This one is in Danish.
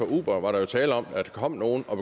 uber var der jo tale om at der kom nogle og